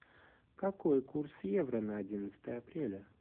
какой курс евро на одиннадцатое апреля